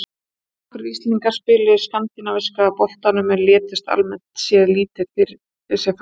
Þónokkrir Íslendingar spiluðu í Skandinavíska boltanum en létu almennt séð lítið fyrir sér fara.